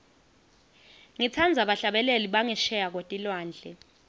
ngitsandza bahlabeleli bangesheya kwetilwandle